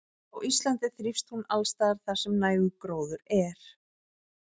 Á Íslandi þrífst hún alls staðar þar sem nægur gróður er.